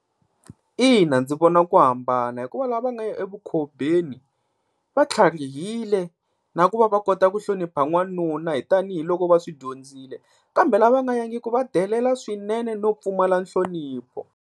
Ina ndzi vona ku hambana hikuva lava va nga ya evukhobeni va tlharihile na ku va va kota ku hlonipha n'wanuna hi tanihiloko va swi dyondzile. Kambe lava nga yangiki va delela swinene no pfumala nhlonipho.